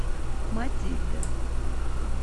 матильда